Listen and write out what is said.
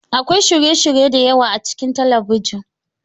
Akwai shirye-shirye da yawa a cikin talabijin.